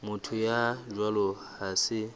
motho ya jwalo ha se